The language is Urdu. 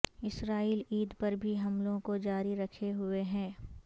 اسرائیل عید پر بھی حملوں کو جاری رکھے ہوئے ہے